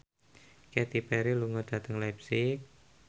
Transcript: Katy Perry lunga dhateng leipzig